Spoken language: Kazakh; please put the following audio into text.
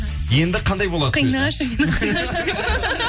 енді қандай болады сөзі қинашы мені